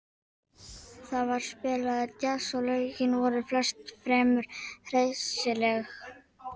Þar var spilaður djass og lögin voru flest fremur hressileg.